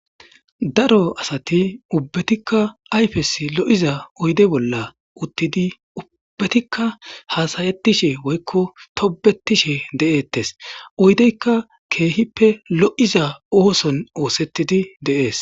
daro asati ubbetikka ayfes lo7iza oyde bolla uttidi ubbetikka haasayettishe woykko tobetishe de7eettes oydeykka keehippe lo7iza ooson oosettidi deees